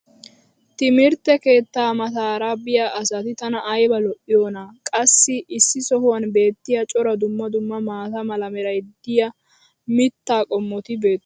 timirtte keettaa mataara biya asati tana ayba iitiyoonaa? qassi issi sohuwan beetiya cora dumma dumma maata mala meray diyo mitaa qommoti beetoosona.